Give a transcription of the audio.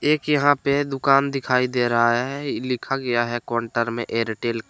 एक यहां पे दुकान दिखाई दे रहा है ई लिखा गया है काउंटर में एरटेल का।